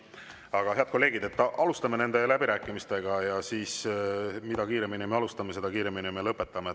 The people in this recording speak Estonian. Aga, head kolleegid, alustame läbirääkimisi ja mida kiiremini me alustame, seda kiiremini me lõpetame.